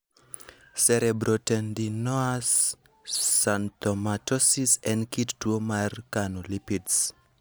Cerebrotendinous xanthomatosis en kit tuo mar kano lipids.